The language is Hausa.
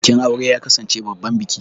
Bikin aure ya kasance babban biki.